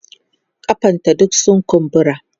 kafan ta duk sun kumbura